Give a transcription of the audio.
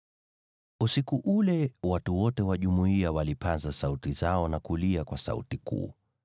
Usiku ule watu wote wa jumuiya walipaza sauti zao na kulia kwa sauti kuu.